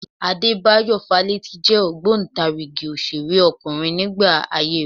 Adébáyọ̀ Fálétí jẹ́ ògbóǹtarigì òṣèrékùnrin nígbà ayé rẹ